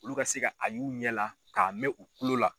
Olu ka se a y'u ɲɛ la k'a mɛn u kulo la.